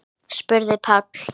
spurði Páll.